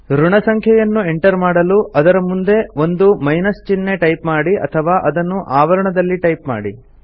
ಋಣಸಂಖ್ಯೆಯನ್ನು enter ಮಾಡಲು ಅದರ ಮುಂದೆ ಒಂದು ಮೈನಸ್ ಚಿಹ್ನೆ ಟೈಪ್ ಮಾಡಿ ಅಥವಾ ಅದನ್ನು ಆವರಣದಲ್ಲಿ ಟೈಪ್ ಮಾಡಿ